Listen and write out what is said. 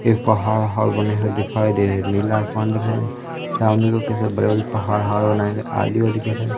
ये पहाड़ वहाड़ बने है दिखाई दे नीला आसमान दिखाई सामने को कैसे बड़े बड़े पहाड़ वहाड बनाए हुए आदि वादी कैसे--